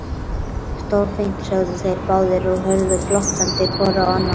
Stórfínt sögðu þeir báðir og horfðu glottandi hvor á annan.